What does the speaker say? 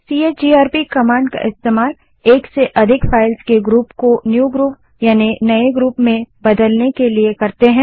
CHGRP command का उपयोग एक से अधिक फाइल्स के ग्रुप को नए ग्रुप में बदलने के लिए करते हैं